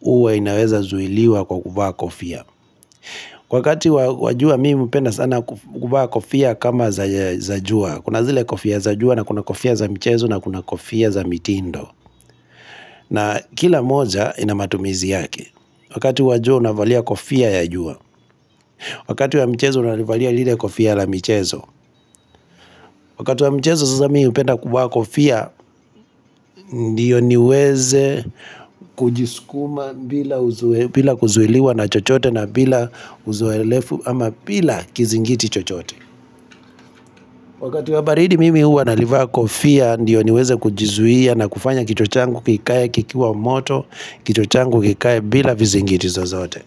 huwa inaweza zuiliwa kwa kuvaa kofia Kwa wakati wa jua mimi hupenda sana kukuvaa kofia kama za jua Kuna zile kofia za jua na kuna kofia za michezo na kuna kofia za mitindo na kila moja inamatumizi yake Wakati wa jua unavalia kofia ya jua Wakati wa michezo unalivalia lile kofia la mchezo Wakati wa mchezo sasa mimi hupenda kuvaa kofia Ndio niweze kujiskuma bila kuzuiliwa na chochote na bila uzoelefu ama bila kizingiti chochote Wakati wa baridi mimi huwa nalivaa kofia ndiyo niweze kujizuia na kufanya kichwa changu kikae kikiwa moto kichwa changu kikae bila vizingiti zozote.